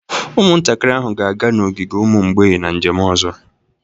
Ụmụntakịrị ahụ ga-aga n'ogige ụmụ mgbei na njem ọzọ